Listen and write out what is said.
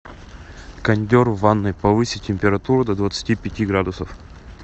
кондер в ванной повысить температуру до двадцати пяти градусов